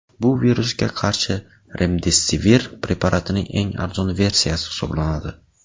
Bu virusga qarshi remdesivir preparatining eng arzon versiyasi hisoblanadi.